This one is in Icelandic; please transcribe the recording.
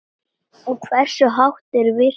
Og hversu hátt er virkið?